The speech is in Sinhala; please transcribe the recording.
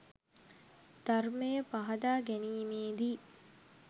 ධර්මය පහදා ගැනීමේදී